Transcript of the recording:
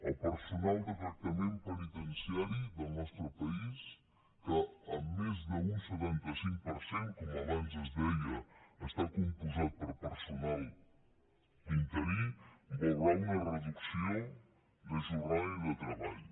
el personal de tractament penitenciari del nostre país que en més d’un setanta cinc per cent com abans es deia està compost per personal interí veurà una reducció de jornada i de treball